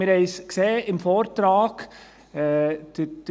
Wir haben es im Vortrag gesehen: